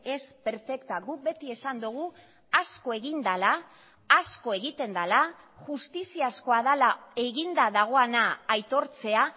es perfecta guk beti esan dugu asko egin dela asko egiten dela justiziazkoa dela eginda dagoena aitortzea